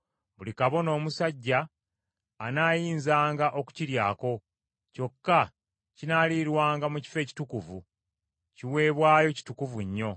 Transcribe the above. Buli kabona omusajja anaayinzanga okukiryako; kyokka kinaalirwanga mu kifo ekitukuvu. Kiweebwayo kitukuvu nnyo.